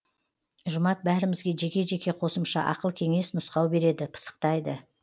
жұмат бәрімізге жеке жеке қосымша ақыл кеңес нұсқау береді пысықтайды